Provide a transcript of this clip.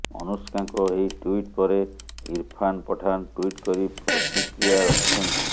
ଅନୁଷ୍କାଙ୍କ ଏହି ଟ୍ୱିଟ ପରେ ଇରଫାନ ପଠାନ ଟ୍ୱିଟ କରି ପ୍ରତିକ୍ରିୟା ରଖିଛନ୍ତି